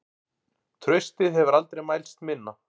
Traustið hefur aldrei mælst minna.